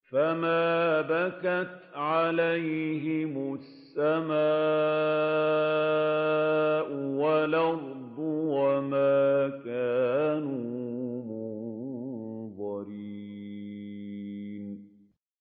فَمَا بَكَتْ عَلَيْهِمُ السَّمَاءُ وَالْأَرْضُ وَمَا كَانُوا مُنظَرِينَ